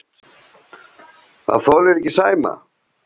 Þolirðu ekki Sæma?